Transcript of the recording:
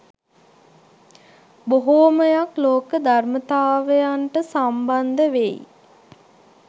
බොහෝමයක් ලෝක ධර්මතාවයන්ට සම්බන්ධ වෙයි